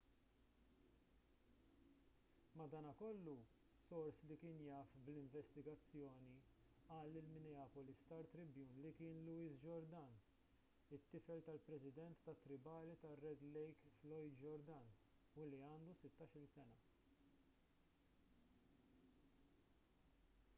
madankollu sors li kien jaf bl-investigazzjoni qal lill-minneapolis star-tribune li kien louis jourdain it-tifel tal-president tat-tribali tar-red lake floyd jourdain u li għandu sittax-il sena